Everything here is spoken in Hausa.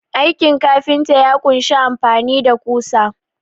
Aikin kafinta ya kunshi amfani da ƙusa.